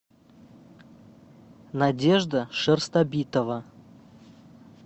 надежда шерстобитова